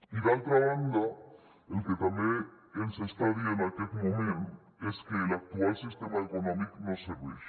i d’altra banda el que també ens està dient aquest moment és que l’actual sistema econòmic no serveix